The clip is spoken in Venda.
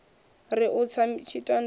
ri u tsa tshitandani a